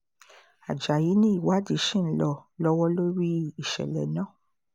ajáyí ni ìwádìí ṣì ń lọ lọ́wọ́ lórí ìṣẹ̀lẹ̀ náà